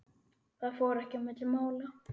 Það fór ekki milli mála.